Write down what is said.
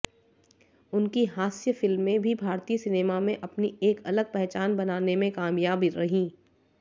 उनकी हास्य फिल्में भी भारतीय सिनेमा में अपनी एक अलग पहचान बनाने में कामयाब रहीं